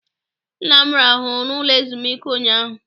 Nna m rahụrụ n'ụlọ ezumike ụnyaahụ.